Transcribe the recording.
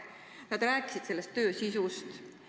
Nad rääkisid selle töö sisust.